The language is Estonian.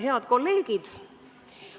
Head kolleegid!